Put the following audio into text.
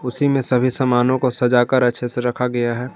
उसी में सभी सामानों को सजाकर अच्छे से रखा गया है।